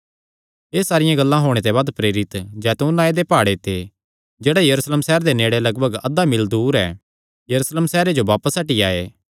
एह़ सारियां गल्लां होणे ते बाद प्रेरित जैतून नांऐ दे प्हाड़े ते जेह्ड़ा यरूशलेम सैहरे दे नेड़े लगभग अधा मील दूर ऐ यरूशलेम सैहरे जो बापस हटी आये